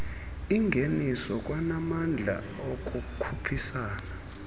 ingeniso kwanamandla okukhuphisana